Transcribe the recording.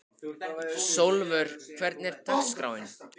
Sólvör, hvernig er dagskráin?